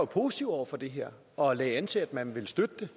positive over for det her og lagde an til at man ville støtte det